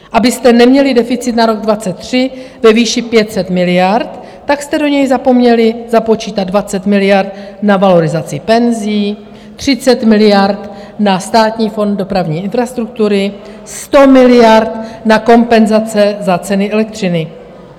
Abyste neměli deficit na rok 2023 ve výši 500 miliard, tak jste do něj zapomněli započítat 20 miliard na valorizaci penzí, 30 miliard na Státní fond dopravní infrastruktury, 100 miliard na kompenzace za ceny elektřiny.